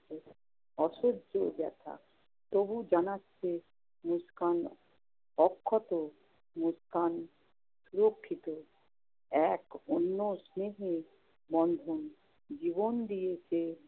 অসহ্য ব্যথা, তবুও জানাচ্ছে মুস্কান অক্ষত, মুস্কান সুরক্ষিত। এক অন্য স্নেহের বন্ধন। জীবন দিয়ে সে